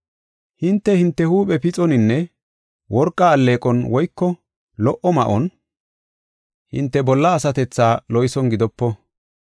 Hinte, hinte huuphe pixoninne worqa alleeqon woyko lo77o ma7on hinte bolla asatethaa loyson gidopo.